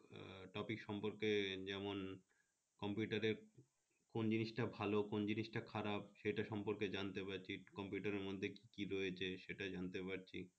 topic সম্পর্কে যেমন computer এর কোন জিনিটা ভালো কোন জিনিটা খারাপ এই সম্পর্কে জানতে পারছি, computer এর মধ্যে কি কি রয়েছে সেটা জনাতে পারছি